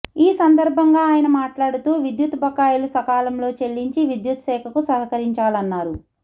ఈ సందర్భంగా ఆయన మాట్లాడుతూ విద్యుత్ బకాయిలు సకాలంలో చెల్లించి విద్యుత్శాఖకు సహకరించాలన్నారు